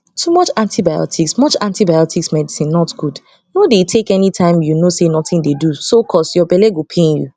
too much antibiotics much antibiotics medicine not gud nor dey take anytime u no say nothing dey so cus ur belle go pain u